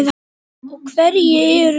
Og hverjir eru þeir?